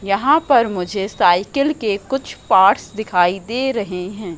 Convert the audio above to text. यहां पर मुझे साइकिल के कुछ पार्ट्स दिखाई दे रहे हैं।